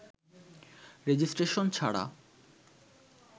registration ছাড়া